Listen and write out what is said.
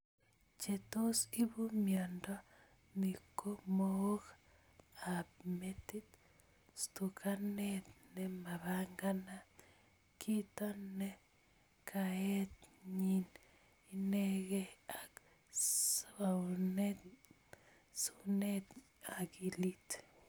Che tos ipu miondo ni ko mook ap metit, stukanet ne mapanganat, kito ne kaet ing inegei, ak suunet ing akilit.